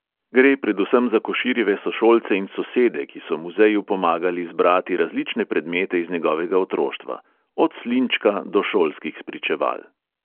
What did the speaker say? Gre predvsem za koširjeve sošolce in sosede, ki so muzeju pomagali zbrati različne predmete iz njegovega otroštva – od slinčka do šolskih spričeval.